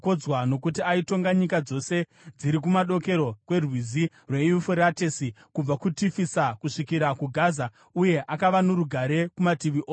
Nokuti aitonga nyika dzose dziri kumadokero kwerwizi rweYufuratesi kubva kuTifisa kusvikira kuGaza, uye akava norugare kumativi ose.